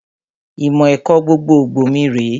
Ìmọ̀ ẹ̀kọ́ gbogbogbò mi rèé